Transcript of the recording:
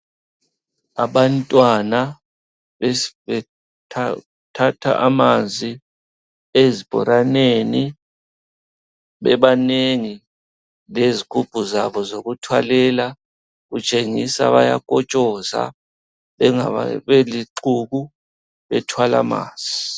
Abantwana bethatha amanzi ezibhoraneni bebanengi lezigubhu zabo zokuthwalela, kutshengisa bayakotshoza belixuku bethwala amanzi.